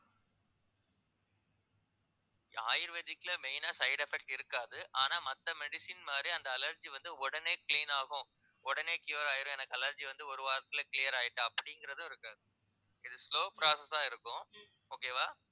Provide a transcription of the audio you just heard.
ayurvedic ல main ஆ side effect இருக்காது ஆனா மத்த medicine மாதிரி அந்த allergy வந்து உடனே clean ஆகும் உடனே cure ஆயிரும் எனக்கு allergy வந்து ஒரு வாரத்துல clear அப்படிங்கறதும் இருக்காது, இது slow process ஆ இருக்கும் okay வா